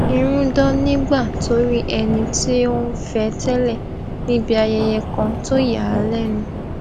irun dán nígbà tó rí ẹni tí ó n fẹ tẹlẹ níbi ayẹyẹ kan tó yà á lénu